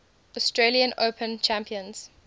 australian open champions